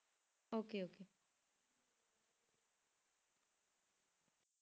Okay okay